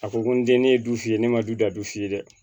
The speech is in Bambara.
A ko ko n den ye du f'i ye ne ma du da du f'i ye dɛ